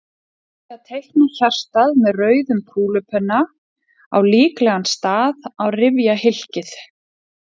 Ég byrjaði á því að teikna hjartað með rauðum kúlupenna á líklegan stað á rifjahylkið.